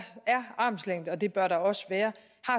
armslængde og det bør der også være